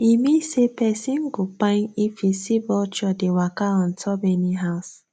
e mean say person go kpain if you see vulture dey waka on top any house